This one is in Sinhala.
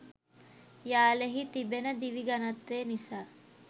යාල හි තිබෙන දිවි ඝනත්වය නිසා